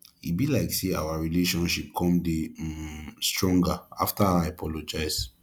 e be like say our relationship come dey um stronger after i apologize